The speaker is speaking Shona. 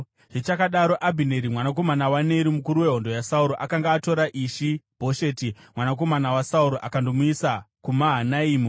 Zvichakadaro, Abhineri mwanakomana waNeri, mukuru wehondo yaSauro, akanga atora Ishi-Bhosheti mwanakomana waSauro, akandomuisa kuMahanaimi.